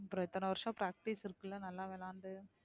அப்புறம் இத்தனை வருஷம் practice இருக்குல்ல நல்லா விளையாண்டு